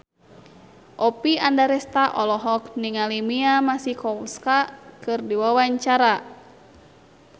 Oppie Andaresta olohok ningali Mia Masikowska keur diwawancara